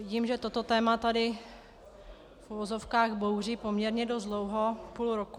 Vidím, že toto téma tady v uvozovkách bouří poměrně dost dlouho, půl roku.